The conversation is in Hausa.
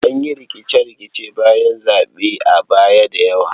An yi rikice-rikicen bayan zaɓe a baya da yawa.